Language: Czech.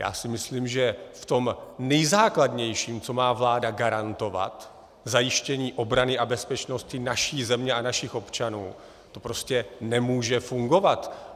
Já si myslím, že v tom nejzákladnějším, co má vláda garantovat - zajištění obrany a bezpečnosti naší země a našich občanů - to prostě nemůže fungovat.